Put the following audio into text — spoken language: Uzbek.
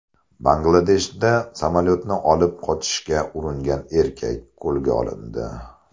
Bangladeshda samolyotni olib qochishga uringan erkak qo‘lga olindi.